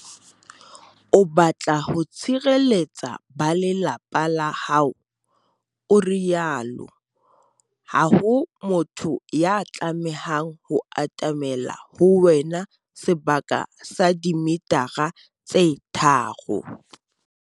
"O batla ho tshireletsa ba lelapa la hao," o rialo. Ha ho motho ya tlamehang ho atamela ho wena sebaka sa dimetara tse tharo.